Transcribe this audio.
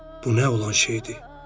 "Bu nə olan şeydir?"